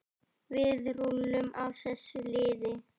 Við rúllum á þessu liði.